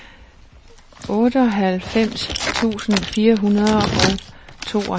otteoghalvfems tusind fire hundrede og tooghalvfems